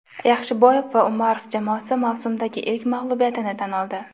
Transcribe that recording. Yaxshiboyev va Umarov jamoasi mavsumdagi ilk mag‘lubiyatini tan oldi.